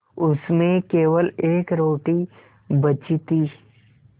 उसमें केवल एक रोटी बची थी